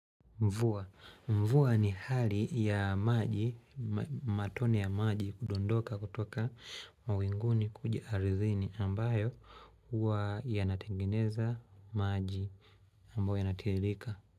Mvua. Mvua ni hali ya maji, matone ya maji kudondoka kutoka mawinguni kuja ardhini ambayo huwa yanatengeneza maji ambayo yanatiririka.